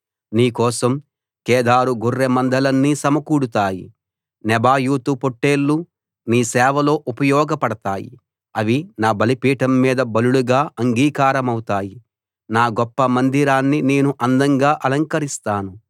నీ కోసం కేదారు గొర్రెమందలన్నీ సమకూడతాయి నెబాయోతు పొట్లేళ్లు నీ సేవలో ఉపయోగపడతాయి అవి నా బలిపీఠం మీద బలులుగా అంగీకారమవుతాయి నా గొప్ప మందిరాన్ని నేను అందంగా అలంకరిస్తాను